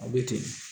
A bɛ ten